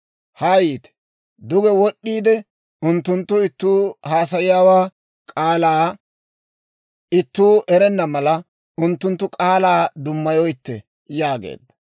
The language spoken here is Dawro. Haa yiite; duge wod'd'iide unttunttu ittuu haasayiyaa k'aalaa ittuu erenna mala, unttunttu k'aalaa dummayoyitte» yaageedda.